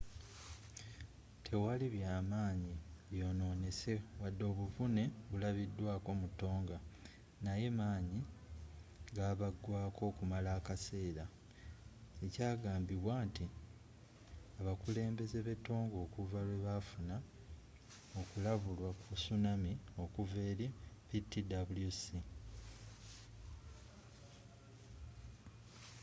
tewali byamaanyi byononese wadde obuvune bulabidwaako mu tonga naye manyi gabagwaako okumala akaseera ekyagambibwa nti abakulembeze be tonga okuva lwebafuna okulabulwa ku tsunami okuva eri ptwc